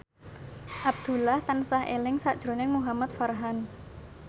Abdullah tansah eling sakjroning Muhamad Farhan